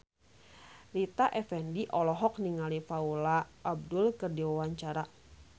Rita Effendy olohok ningali Paula Abdul keur diwawancara